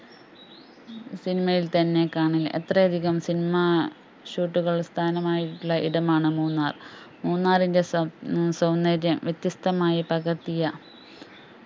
cinema യിൽ തന്നെ കാണി എത്ര അധികം cinema shoot കൾ സ്ഥാനമായിട്ടുള്ള ഇടമാണ് മൂന്നാർ. മൂന്നാറിൻറെ സൗ സൗന്ദര്യം വ്യത്യസ്ഥമായി പകർത്തിയ